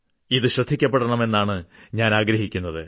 ഇത് ശ്രദ്ധിക്കപ്പെടണം എന്നാണ് ഞാനാഗ്രഹിക്കുന്നത്